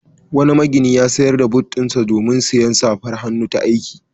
Wani magini ya sayar da but ɗinsa domin sayen safar hannu ta aiki.